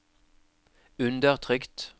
undertrykt